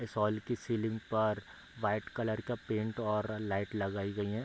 शोल की सीलिंग पर white colour का पेंट और लाइट लगायी गयी है।